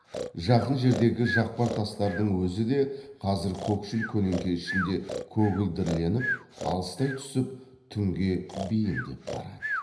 жақын жердегі жақпар тастардың өзі де қазір көкшіл көлеңке ішінде көгілдірленіп алыстай түсіп түнге бейімдеп барады